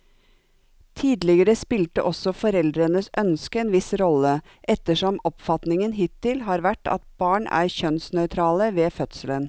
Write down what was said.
Tidligere spilte også foreldrenes ønske en viss rolle, ettersom oppfatningen hittil har vært at barn er kjønnsnøytrale ved fødselen.